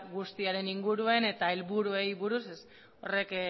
guztiaren inguruen eta helburuei buruz ez horrek